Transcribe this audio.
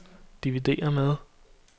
dividér med